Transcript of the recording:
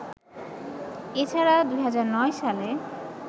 এছাড়া ২০০৯ সালে